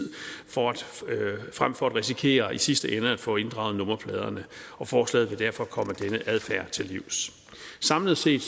frem for at risikere i sidste ende at få inddraget nummerpladerne forslaget vil derfor komme den adfærd til livs samlet set